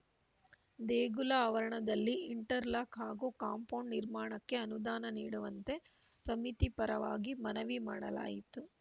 ದೇಗುಲ ಆವರಣದಲ್ಲಿ interlock ಹಾಗೂ ಕಾಂಪೌಂಡ್‌ ನಿರ್ಮಾಣಕ್ಕೆ ಅನುದಾನ ನೀಡುವಂತೆ ಸಮಿತಿ ಪರವಾಗಿ ಮನವಿ ಮಾಡಲಾಯಿತು